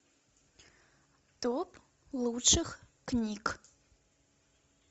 топ лучших книг